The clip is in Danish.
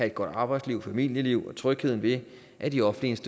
et godt arbejdsliv og familieliv og trygheden ved at de offentlige